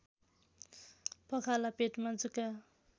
पखाला पेटमा जुका